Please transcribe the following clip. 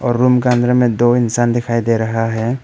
Room का अंदर में दो इंसान दिखाई दे रहा है।